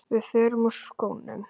Við förum úr skónum.